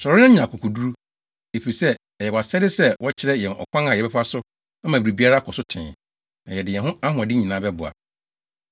Sɔre, na nya akokoduru, efisɛ ɛyɛ wʼasɛde sɛ wokyerɛ yɛn ɔkwan a yɛbɛfa so ama biribiara akɔ so tee, na yɛde yɛn ahoɔden nyinaa bɛboa.”